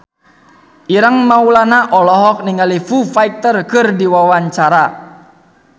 Ireng Maulana olohok ningali Foo Fighter keur diwawancara